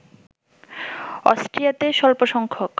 অস্ট্রিয়াতে স্বল্পসংখ্যক